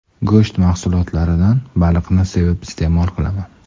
Go‘sht mahsulotlaridan baliqni sevib iste’mol qilaman.